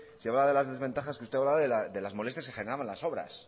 si hablaba de las desventajas que usted hablaba de las molestias que generaban las obras